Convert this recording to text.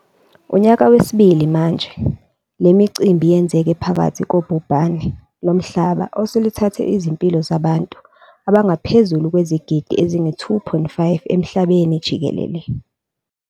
Unyaka wesibili manje, le micimbi yenzeke phakathi kobhubhane lomhlaba oseluthathe izimpilo zabantu abangaphezu kwezigidi ezi-2.5 emhlabeni jikelele.